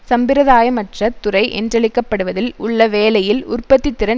சம்பிரதாயமற்ற துறை என்றழைக்க படுவதில் உள்ள வேலையில் உற்பத்தி திறன்